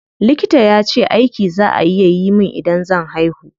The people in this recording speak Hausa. Likita yace aiki za a yi min idan zan haihu.